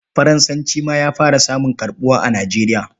Faransanci ma ya fara samun karɓuwa a Nigeria.